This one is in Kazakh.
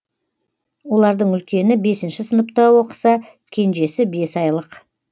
олардың үлкені бесінші сыныпта оқыса кенежесі бес айлық